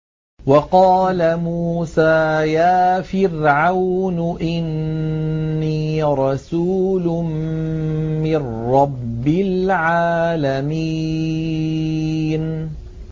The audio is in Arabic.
وَقَالَ مُوسَىٰ يَا فِرْعَوْنُ إِنِّي رَسُولٌ مِّن رَّبِّ الْعَالَمِينَ